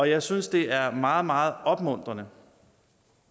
jeg synes det er meget meget opmuntrende